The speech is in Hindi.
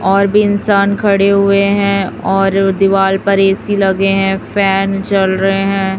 और भी इंसान खड़े हुए हैं और दीवाल पर ए_सी लगे हैं फैन चल रहे हैं।